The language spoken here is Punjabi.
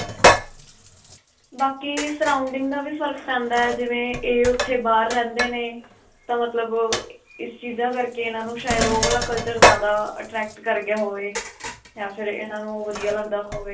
ਬਾਕੀ surrounding ਦਾ ਵੀ ਫਰਕ ਪੈਂਦਾ ਹੈ, ਜਿਵੇਂ ਇਹ ਓੱਥੇ ਬਾਹਰ ਰਹਿੰਦੇ ਨੇ ਤਾਂ ਮਤਲਬ ਅਅ ਇਸ ਚੀਜਾਂ ਕਰਕੇ ਇਨ੍ਹਾਂ ਨੂੰ ਸ਼ਾਇਦ ਓਹ ਵਾਲਾ culture ਜਿਆਦਾ attract ਕਰ ਗਿਆ ਹੋਵੇ ਜਾਂ ਫਿਰ ਇਨ੍ਹਾਂ ਨੂੰ ਵਧੀਆਂ ਲਗਦਾ ਹੋਵੇ.